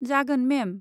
जागोन, मेम।